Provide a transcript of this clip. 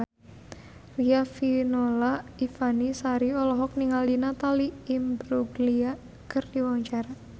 Riafinola Ifani Sari olohok ningali Natalie Imbruglia keur diwawancara